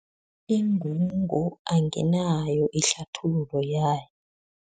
Ingungu anginayo ihlathululo yayo.